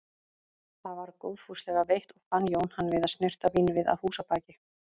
Það var góðfúslega veitt og fann Jón hann við að snyrta vínvið að húsabaki.